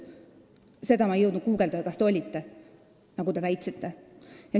Ma seda ei jõudnud guugeldada, kas te ikka olite, nagu te väitsite.